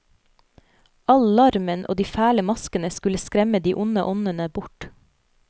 All larmen og de fæle maskene skulle skremme de onde åndene bort.